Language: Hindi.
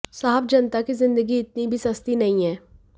साहब जनता की जिंदगी इतनी भी सस्ती नहीं है